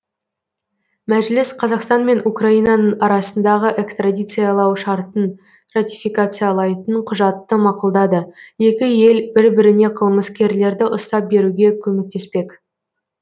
мәжіліс қазақстан мен украинаның арасындағы экстрадициялау шартын ратификациялайтын құжатты мақұлдады екі ел бір біріне қылмыскерлерді ұстап беруге көмектеспек